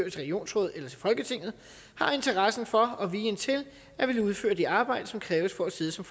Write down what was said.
et regionsråd eller til folketinget har interessen for og viljen til at ville udføre det arbejde som kræves for at sidde som